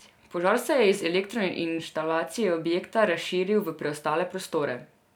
Požar se je iz elektroinštalacije objekta razširil v preostale prostore.